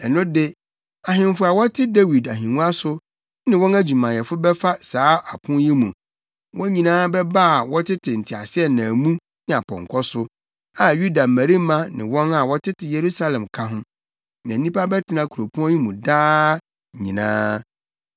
ɛno de ahemfo a wɔte Dawid ahengua so ne wɔn adwumayɛfo bɛfa saa apon yi mu. Wɔn nyinaa bɛba a wɔtete nteaseɛnam mu ne apɔnkɔ so, a Yuda mmarima ne wɔn a wɔtete Yerusalem ka ho, na nnipa bɛtena kuropɔn yi mu daa nyinaa.